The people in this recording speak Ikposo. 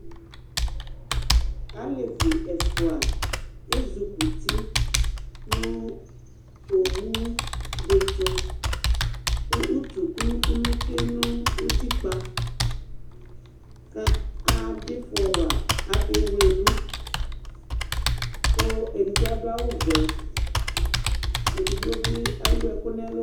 alɛvi ɛƒʋa ɛzʋkʋti nʋ ɔwʋ di tʋ kʋ ʋtʋ kʋnʋ kʋnʋ twɛnʋʋtikpa kʋ adʋ iƒɔ wa, akɛ wlɛdu kʋ ɛdigbɔ adʋ awʋ vɛ, ɛdigbɔ bi ɛwʋ ɛkʋ nʋ ɛlʋ